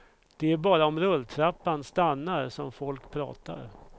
Det är bara om rulltrappan stannar som folk pratar.